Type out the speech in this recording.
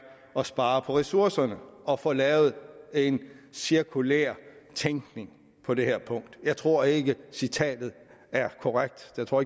at spare på ressourcerne og få lavet en cirkulær tænkning på det her punkt jeg tror ikke citatet er korrekt jeg tror